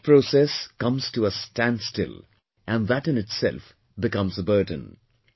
The thought process comes to a standstill and that in itself becomes a burden